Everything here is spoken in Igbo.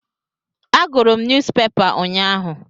Agụrụ m nyuuzpepa ụnyaahụ.